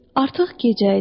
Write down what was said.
Artıq gecə idi.